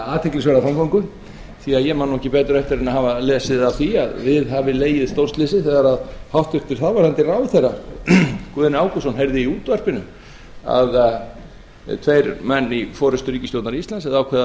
athyglisverða framgöngu því að ég man ekki betur eftir en að hafa lesið af því að við hafi legið stórslysi þegar hæstvirtur þáv ráðherra guðni ágústsson heyrði í útvarpinu að tveir menn í forustu ríkisstjórnar íslands hefðu ákveðið að